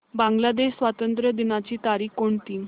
बांग्लादेश स्वातंत्र्य दिनाची तारीख कोणती